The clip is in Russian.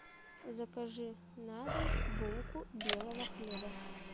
закажи на дом булку белого хлеба